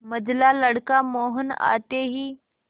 मंझला लड़का मोहन आते ही